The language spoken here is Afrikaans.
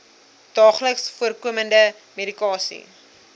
daagliks voorkomende medikasie